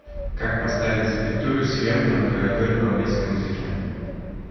как поставить запятую сверху на клавиатуре в английском языке